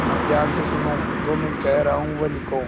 अब ध्यान से सुनो जो मैं कह रहा हूँ वह लिखो